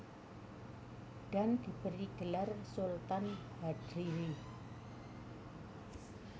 Dan diberi gelar Sultan Hadlirin